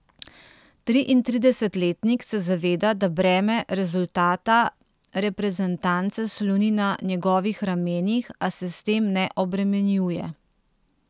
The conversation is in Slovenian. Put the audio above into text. Triintridesetletnik se zaveda, da breme rezultata reprezentance sloni na njegovih ramenih, a se s tem ne obremenjuje.